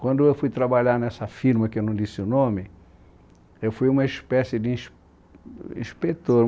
Quando eu fui trabalhar nessa firma que eu não disse o nome, eu fui uma espécie de Ins inspetor.